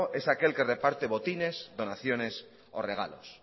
es aquel que reparte botines donaciones o regalos